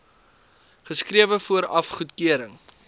geskrewe vooraf goedkeuring